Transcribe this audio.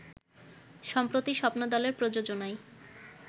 সম্প্রতি স্বপ্নদলের প্রযোজনায়